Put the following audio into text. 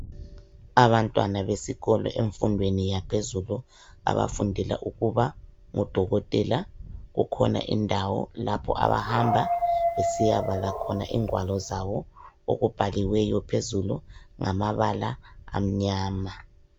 Abantwana besikolo emfundweni yaphezulu abafundela ukuba ngodokotela, kukhona indawo lapho abahamba besiyabala khona ingwalo zabo okubhaliweyo phezulu ngamabala amnyama.